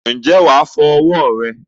ǹjẹ́ wà á fọ ọwọ́ rẹ nù?